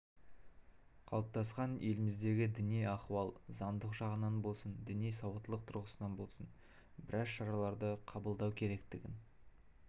қалыптасқан еліміздегі діни ахуал заңдық жағынан болсын діни сауаттылық тұрғысынан болсын біраз шараларды қабылдау керектігін